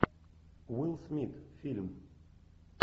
уилл смит фильм